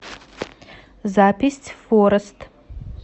запись форест